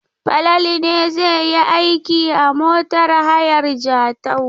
Falalu ne zai yi aiki a motar hayar Jatau.